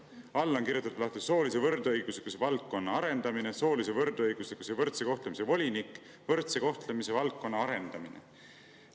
All on kirjutatud lahti: "Soolise võrdõiguslikkuse valdkonna arendamine, soolise võrdõiguslikkuse ja võrdse kohtlemise volinik, võrdse kohtlemise valdkonna arendamine.